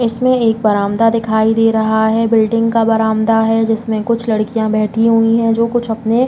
इसमें एक बरामदा दिखाई दे रहा है। बिल्डिंग का बरामदा है। जिसमें कुछ लड़कियां बैठी हुई हैं जों कुछ अपने --